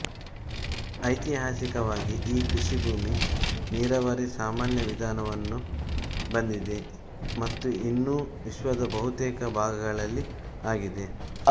ಐತಿಹಾಸಿಕವಾಗಿ ಈ ಕೃಷಿ ಭೂಮಿ ನೀರಾವರಿ ಸಾಮಾನ್ಯ ವಿಧಾನವನ್ನು ಬಂದಿದೆ ಮತ್ತು ಇನ್ನೂ ವಿಶ್ವದ ಬಹುತೇಕ ಭಾಗಗಳಲ್ಲಿ ಆಗಿದೆ